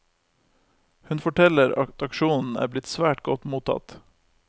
Hun forteller at aksjonen er blitt svært godt mottatt.